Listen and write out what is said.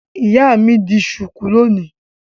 Ìyá mi di ṣùkú lónìí.